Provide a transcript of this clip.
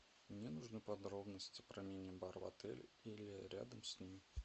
мне нужны подробности про мини бар в отеле или рядом с ним